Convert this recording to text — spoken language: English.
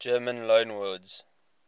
german loanwords